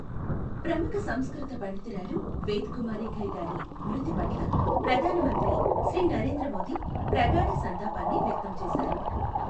ప్రముఖ సంస్కృత పండితురాలు వేద్ కుమారి ఘయి గారి మృతి పట్ల ప్రధాన మంత్రి శ్రీ నరేంద్ర మోదీ ప్రగాఢ సంతాపాన్ని వ్య క్తం చేశారు.